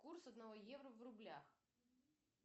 курс одного евро в рублях